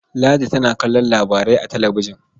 Ladi tana kallon labarai a talabijin.